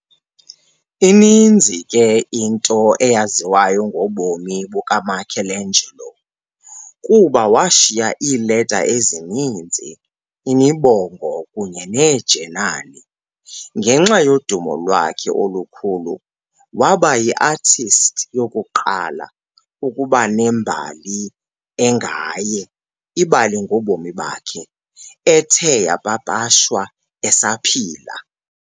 Ininzi ke into eyaziwayo ngobomi bukaMichelangelo kuba washiya iileta ezininzi , imibongo kunye neejenali. Ngenxa yodumo lwakhe olukhulu, wabayiartist yokuqala ukuba ne mbali engaye, ibali ngobomi bakhe, ethe yapapashwa esaphila.